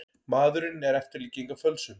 Maðurinn er eftirlíking af fölsun.